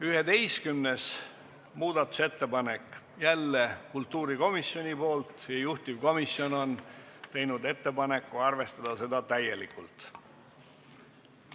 11. muudatusettepanek, jälle kultuurikomisjonilt, juhtivkomisjon on teinud ettepaneku arvestada seda täielikult.